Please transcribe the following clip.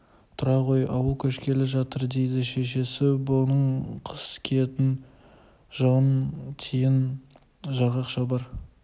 тұра ғой ауыл көшкелі жатыр дейді шешесі бұның қыс киетін жылы тиін жарғақ шалбар